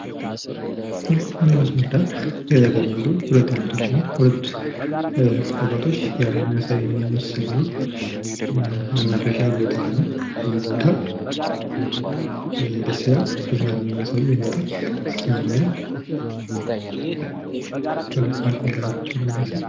ይህ አንድ መስመር ዳር የተቀመጡ ሁለት እህቶችና ሁለት አባቶች ሲያወሩ የሚያሳይ ምስል ነው። መናፈሻ ቦታ ነው። ይህ ቦታ ደስ ይላል። ሲዝናኑ የሚያሳይ የእናቶች ሲዝናኑ ወይም የሆነ ፓርኪንግ ጋ ቁጭ ብለው ነው የሚያሳይ።